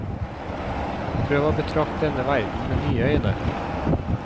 Prøv å betrakt denne verden med nye øyne.